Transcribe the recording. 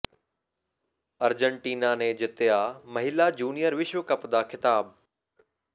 Argentina ਨੇ ਜਿੱਤਿਆ ਮਹਿਲਾ ਜੂਨੀਅਰ ਵਿਸ਼ਵ ਕੱਪ ਦਾ ਖ਼ਿਤਾਬ